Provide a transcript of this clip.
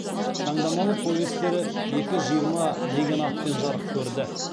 таңдамалы повестері екі жиырма деген атпен жарық көрді